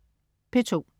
P2: